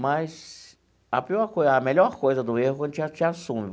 Mas a pior coisa, a melhor coisa do erro é quando a gente assume.